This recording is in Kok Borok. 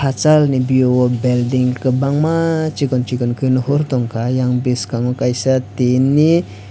hachal ni view o building kwbangma chikon chikon khe nuhur tongkha yang biskango kaisa tin ni.